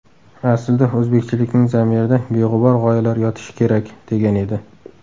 Aslida, o‘zbekchilikning zamirida beg‘ubor g‘oyalar yotishi kerak”, degan edi.